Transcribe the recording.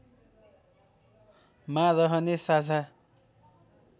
मा रहने साझा